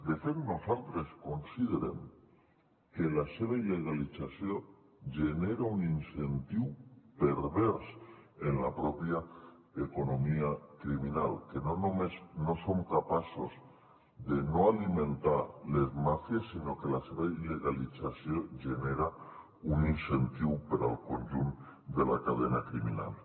de fet nosaltres considerem que la seva il·legalització genera un incentiu pervers en la pròpia economia criminal que no només no som capaços de no alimentar les màfies sinó que la seva il·legalització genera un incentiu per al conjunt de la cadena criminal